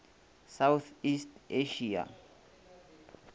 south east asia